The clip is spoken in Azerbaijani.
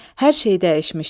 Hər şey dəyişmişdi.